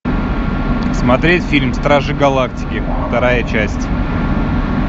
смотреть фильм стражи галактики вторая часть